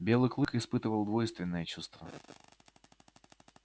белый клык испытывал двойственное чувство